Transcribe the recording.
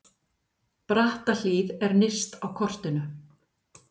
Brattahlíð er nyrst á kortinu.